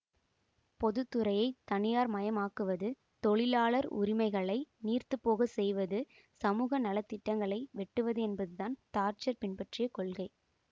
பொதுத்துறையை தனியார்மயமாக்குவது தொழிலாளர் உரிமைகளை நீர்த்துப்போகச் செய்வது சமூக நல திட்டங்களை வெட்டுவது என்பது தான் தாட்சர் பின்பற்றிய கொள்கை